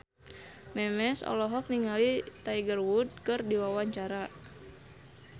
Memes olohok ningali Tiger Wood keur diwawancara